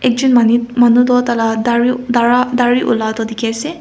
ekjon manu toh tala daru dara dari olai na dikhiase.